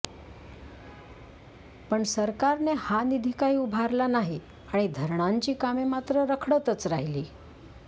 पण सरकारने हा निधी काही उभारला नाही आणि धरणांची कामे मात्र रखडतच राहिली